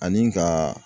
Ani ka